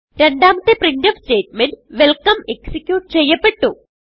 രണ്ടാമത്തെ printf statement welcome execute ചെയ്യപെട്ടു